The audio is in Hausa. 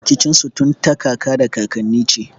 Rikicin su tun ta kaka da kakanni ce.